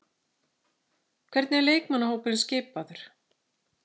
Hvernig er leikmannahópurinn skipaður?